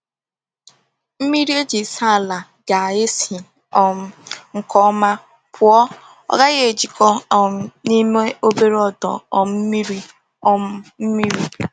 Mmiri eji saa ala ga-esi um nke ọma pụọ, ọ gaghị ejikọta um n’ime obere ọdọ um mmiri. um mmiri.